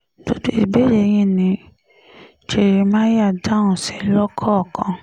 gbogbo ìbéèrè yìí ni jeremáyà dáhùn sí lọ́kọ̀ọ̀kan